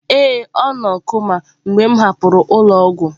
Ee, ọ nọ koma mgbe m hapụrụ ụlọ ọgwụ.